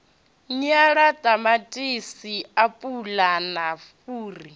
nyala ṱamaṱisi apula na fhuri